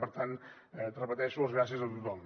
per tant ho repeteixo gràcies a tothom